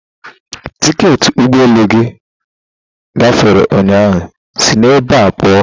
Tiketị ụgbọ elu gị gafere ụnyahụ, sị ebe a pụọ!